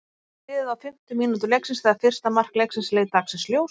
Aðeins var liðið á fimmtu mínútu leiksins þegar fyrsta mark leiksins leit dagsins ljós.